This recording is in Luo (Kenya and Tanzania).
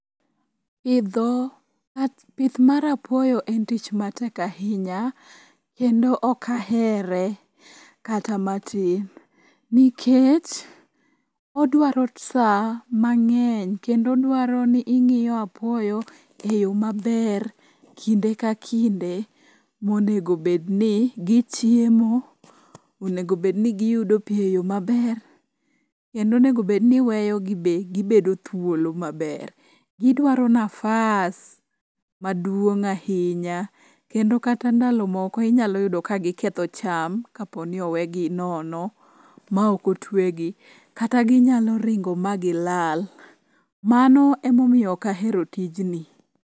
Pith mar apuoyo en tich matek ahinya kendo ok ahere kata matin nikech odwaro sa mang'eny kendo odwaro ni ing'iyo apuoyo e yo maber kinde ka kinde monego bedni gichiemo, onego bedni giyudo pi e yo maber kendo onego bedni iweyogi be gibedo thuolo maber. Gidwaro nafas maduong' ahinya kendo kata ndalo moko inyalo yudo ka giketho cham kapo ni owegi nono ma okotwegi kata ginyalo ringo ma gilal. Mano emomiyo ok ahero tijni.